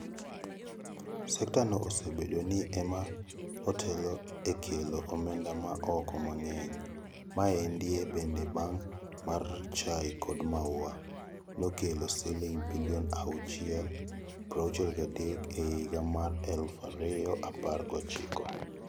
Sekta no osebedo ni ema otelo e kelo omenda maa oko mangeny. Maendei bede bang' mar chai kod maua. Nokelo siling bilion achiel prauchiel gadek e higa mar eluf ario apar gochiko.